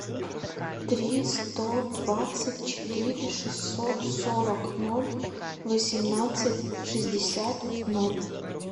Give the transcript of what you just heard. три сто двадцать четыре шестьсот сорок ноль восемнадцать шестьдесят ноль